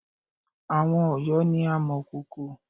Àwon Òyó ni amọ̀kòkò